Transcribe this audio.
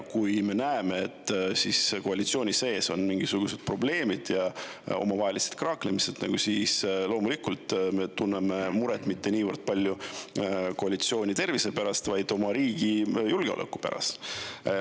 Kui me näeme, et koalitsiooni sees on mingisugused probleemid ja omavahelised kraaklemised, siis loomulikult me tunneme muret mitte niivõrd palju koalitsiooni tervise pärast, vaid oma riigi julgeoleku pärast.